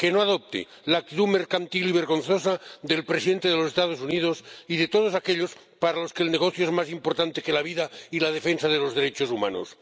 que no adopte la actitud mercantil vergonzosa del presidente de los Estados Unidos y de todos aquellos para los que el negocio es más importante que la vida y la defensa de los derechos humanos.